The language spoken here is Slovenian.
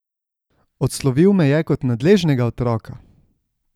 Odslovil me je kot nadležnega otroka.